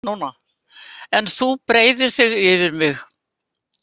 En þú breiðir þig yfir mig.